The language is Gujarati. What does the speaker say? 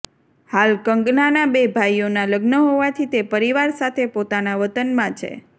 હાલ કંગનાના બે ભાઈઓના લગ્ન હોવાથી તે પરિવાર સાથે પોતાના વતનમાં છે